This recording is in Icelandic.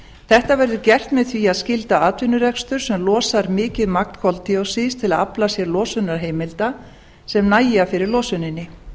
þetta verður gert með því að skylda atvinnurekstur sem losar mikið magn koldíoxíðs til að afla sér losunarheimilda sem nægja fyrir losuninni